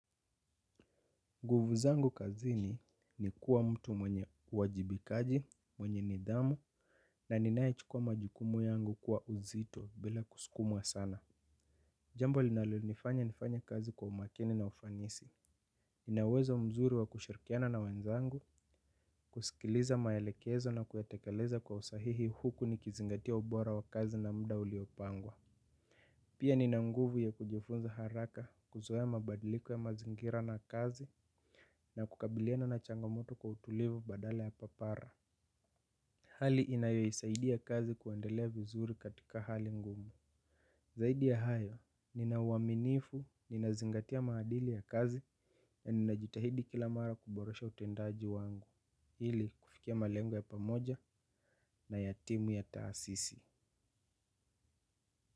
Nguvu zangu kazini ni kuwa mtu mwenye uwajibikaji, mwenye nidhamu, na ninae chukua majukumu yangu kwa uzito bila kusukumwa sana. Jambo linalonifanya nifanye kazi kwa umakini na ufanisi. Nina uwezo mzuri wa kushirikiana na wenzangu, kusikiliza maelekezo na kuyatekeleza kwa usahihi huku nikizingatia ubora wa kazi na muda uliopangwa. Pia nina nguvu ya kujifunza haraka kuzoe mabadiliku ya mazingira na kazi na kukabiliana na changamoto kwa utulivu badale ya papara. Hali inayoisaidia kazi kuendelea vizuri katika hali ngumu. Saidi ya hayo, nina uaminifu, ninazingatia maadili ya kazi na ninajitahidi kila mara kuboresha utendaji wangu. Ili kufikia malengo ya pamoja na ya timu ya taasisi.